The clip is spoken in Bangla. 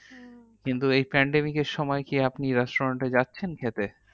কিন্তু এই pandemic এর সময়, কি আপনি restaurant এ যাচ্ছেন খেতে?